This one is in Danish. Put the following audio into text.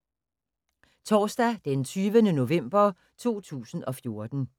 Torsdag d. 20. november 2014